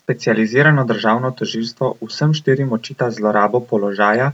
Specializirano državno tožilstvo vsem štirim očita zlorabo položaja